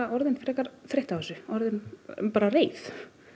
orðin frekar þreytt á þessu orðin reið